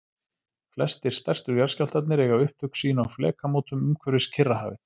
Flestir stærstu jarðskjálftarnir eiga upptök sín á flekamótum umhverfis Kyrrahafið.